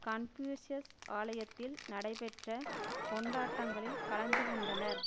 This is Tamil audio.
கன்பியூசியஸ் ஆலயத்தில் நடைபெற்ற கொண்டாட்டங்களில் கலந்து கொண்டனர்